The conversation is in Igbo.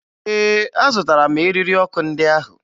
Ee, azụtara m eriri ọkụ ndị ahụ